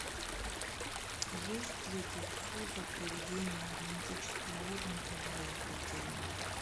есть ли здесь услуга проведение романтического ужина для двоих отдельно